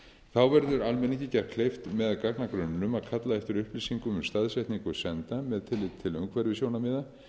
þá verður almenningi gert kleift með gagnagrunninum að kalla eftir upplýsingum um staðsetningu senda ættu umhverfissjónarmiða